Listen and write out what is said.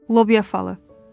Lobiya falan.